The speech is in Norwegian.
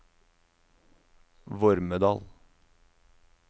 Vormedal